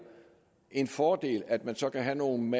en fordel at man så kan have nogle